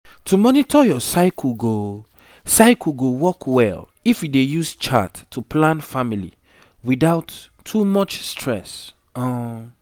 to dey monitor your cycle go cycle go work well if you dey use chart to plan family without too much stress um